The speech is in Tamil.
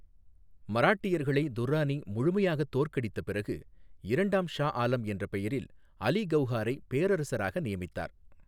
மராட்டியர்களை துர்ரானி முழுமையாகத் தோற்கடித்த பிறகு, இரண்டாம் ஷா ஆலம் என்ற பெயரில் அலி கவுஹாரை பேரரசராக நியமித்தார்.